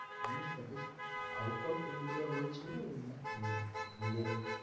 আমি suggest out of India বলছেন না ইন~ইন্ডিয়ান